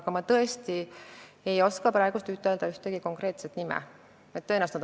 Aga ma tõesti ei oska praegu ühtegi konkreetset näidet öelda.